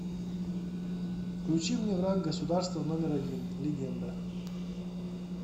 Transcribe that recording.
включи мне враг государства номер один легенда